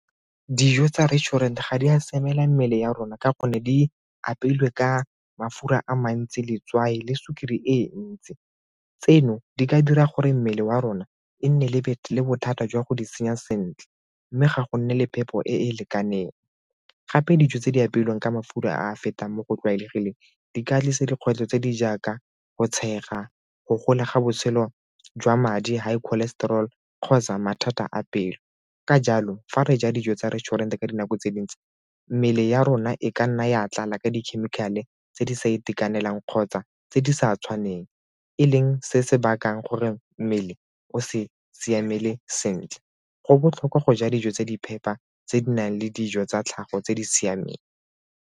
Dijo tsa restaurant ga di a siamela mmele ya rona ka gonne di apeilwe ka mafura a mantsi, letswai le sukiri e ntsi. Tseno di ka dira gore mmele wa rona e nne lebetleleng bothata jwa go di senya sentle mme ga go nne le phepo e e lekaneng. Gape dijo tse di apeilweng ka mafura a a fetang mo go tlwaelegileng di ka tlisa dikgwetlho tse di jaaka go tshega, go gola ga botshelo jwa madi, high cholesterol kgotsa mathata a pelo. Ka jalo, fa re ja dijo tsa restaurant ka dinako tse dingwe tse mmele ya rona e ka nna ya tlala ka dikhemikhale tse di sa itekanelang kgotsa tse di sa tshwaneng e leng se se bakang gore mmele o se siamele sentle. Go botlhokwa go ja dijo tse di phepa tse di nang le dijo tsa tlhago tse di siameng.